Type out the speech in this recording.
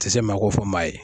A ti se maa ko fɔ maa ye